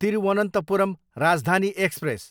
Thiruvananthapuram Rajdhani express